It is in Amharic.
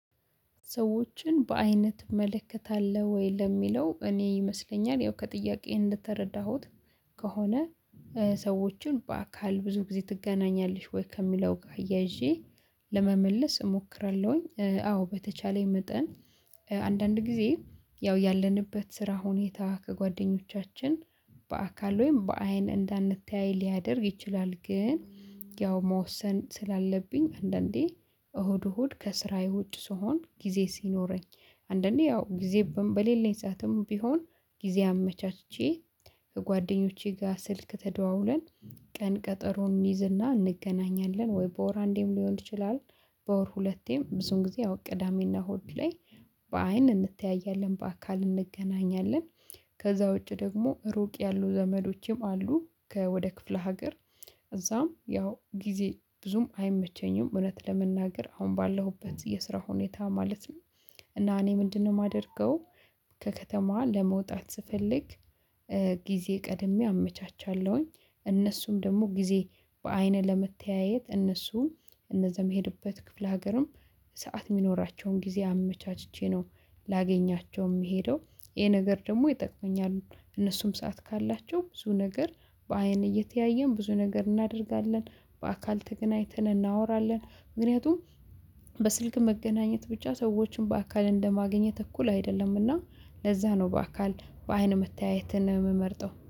ሰዎችን በአይነት እመለከታለሁ ወይ ለሚለው እኔ ይመስለኛል ያው ከጥያቄ እንደተረዳሁት ከሆነ? ሰዎችን በአካል ብዙ ጊዜ ትገናኛለሽ ወይ ከሚለው ጋር አያይዤ ለመመለስ እሞክራለሁኝ። አዎ በተቻለኝ መጠን። አንዳንድ ጊዜ ያው ያለንበት ስራ ሁኔታ ከጓደኞቻችን በአካል ወይም በአይን እንዳንተያይ ሊያደርግ ይችላል። ግን ያው መወሰን ስላለብኝ አንዳንዴ እሁድ እሁድ ከስራዬ ውጭ ስሆን ጊዜ ሲኖረኝ። አንዳንዴ ያው ጊዜ በሌለኝ ሰዓትም ቢሆን ጊዜ አመቻችቼ ከጓደኞቼ ጋር ስልክ ተደዋውለን። ቀን ቀጠሮን እንይዝና እንገናኛለን ወይ በወር አንዴም ሊሆን ይችላል። በወር ሁለቴም ብዙን ጊዜ ቅዳሜና እሁድ ላይ በአይን እንተያያለን በአካል እንገናኛለን። ከዛ ውጪ ደግሞ ሩቅ ያሉ ዘመዶቼም አሉ ከወደ ክፍለ ሀገር። እዛም ያው ጊዜ ብዙም አይመቸኝም እውነት ለመናገር አሁን ባለሁበት የስራ ሁኔታ ማለት ነው። እና እኔ ምንድነው ማደርገው? ከከተማ ለመውጣት ስፈልግ። ጊዜ ቀድሜ አመቻቻለሁኝ እነሱም ደግሞ ጊዜ በአይን ለመተያየት እነሱን እነዛም የሄድኩበት ክፍለ ሀገርም ሰዓት ሚኖራቸውን ጊዜ አመቻችቼ ነው። ላገኛቸው ምሄደው ይሄ ነገር ደግሞ ይጠቅመኛል። እነሱም ሰዓት ካላቸው ብዙ ነገር በአይን እየተያየን ብዙ ነገር እናደርጋለን በአካል ተገናኝተን እናወራለን ምክንያቱም። በስልክ መገናኘት ብቻ ሰዎችን በአካል እንደማገኘት እኩል አይደለምና ለዛ ነው በአካል በአይን መታየት ነው ምመርጠው